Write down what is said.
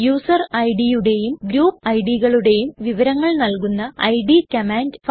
user idയുടെയും group idകളുടെയും വിവരങ്ങൾ നല്കുന്ന ഇഡ് കമാൻഡ്